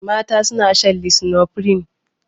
Mata suna shan lisinopril.